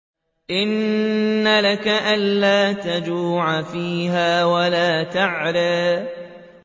إِنَّ لَكَ أَلَّا تَجُوعَ فِيهَا وَلَا تَعْرَىٰ